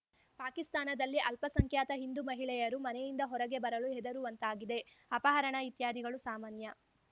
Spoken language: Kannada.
ಪಾಕಿಸ್ತಾನದಲ್ಲಿ ಅಲ್ಪಸಂಖ್ಯಾತ ಹಿಂದೂ ಮಹಿಳೆಯರು ಮನೆಯಿಂದ ಹೊರಗೆ ಬರಲು ಹೆದರುವಂತಾಗಿದೆ ಅಪಹರಣ ಇತ್ಯಾದಿಗಳು ಸಾಮಾನ್ಯ